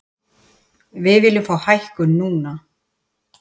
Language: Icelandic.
Við viljum fá hækkun núna.